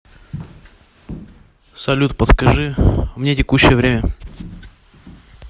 салют подскажи мне текущее время